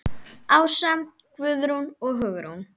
Ása, Guðrún og Hugrún.